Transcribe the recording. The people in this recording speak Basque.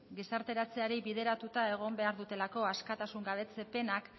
gizarteratzeari bideratuta egon behar direlako askatasun gabetze penak